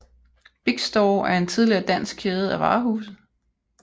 Big Store er en tidligere dansk kæde af varehuse